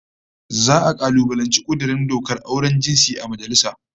Za'a kalubalanci kudurin dokar auren jinsi a majalisa